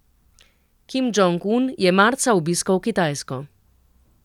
Kim Džong Un je marca obiskal Kitajsko.